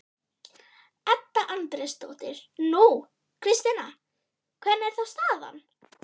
Edda Andrésdóttir: Nú, Kristjana, hvernig er þá staðan?